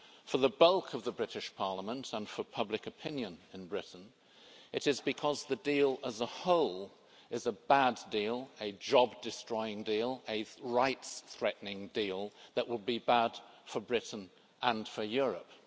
for the bulk of the British Parliament and for public opinion in Britain it is because the deal as a whole is a bad deal, a job destroying deal and a rights threatening deal that will be bad for Britain and for Europe.